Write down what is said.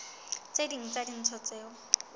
tse ding tsa dintho tseo